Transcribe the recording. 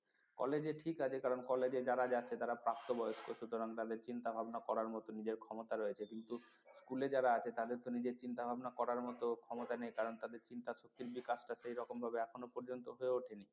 college ঠিক আছে কারণ college এ যারা যাচ্ছে তারা প্রাপ্তবয়স্ক সুতরাং তাদের চিন্তা ভাবনা করার মত নিজের ক্ষমতা রয়েছে কিন্তু স্কুলে যারা আছে তাদের তো নিজের চিন্তা ভাবনা করার মত ক্ষমতা নেই কারণ তাদের চিন্তা শক্তির বিকাশ টা সেইরকম ভাবে এখনো পর্যন্ত হয়ে ওঠেনি।